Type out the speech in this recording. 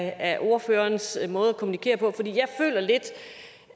af ordførerens måde at kommunikere på jeg føler lidt